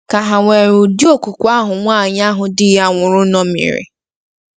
Ka hà nwere ụdị okwukwe ahụ nwaanyị ahụ di ya nwụrụ ṅomiri?